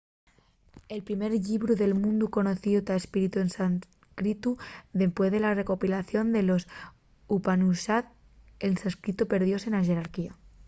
el primer llibru del mundu conocíu ta escritu en sánscritu dempués de la recopilación de los upanishad el sánscritu perdióse na xerarquía